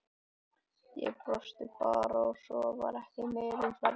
Ég brosti bara og svo var ekki meira um það rætt.